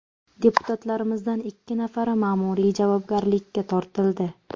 Deputatlarimizdan ikki nafari ma’muriy javobgarlikka tortildi.